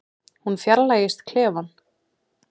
Hún fjarlægist klefann.